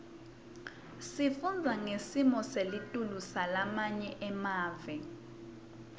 sifundza ngesimo selitulu salamanye emave